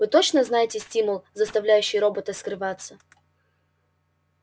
вы точно знаете стимул заставляющий робота скрываться